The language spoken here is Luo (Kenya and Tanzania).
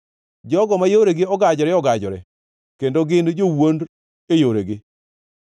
jogo ma yoregi ogajore ogajore kendo gin jowuond e yoregi.